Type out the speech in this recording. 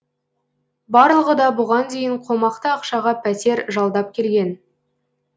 барлығы да бұған дейін қомақты ақшаға пәтер жалдап келген